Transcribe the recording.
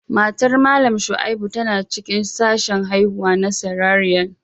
Matar Mallam Shaibu tana cikin sashen haihuwa na Cesarean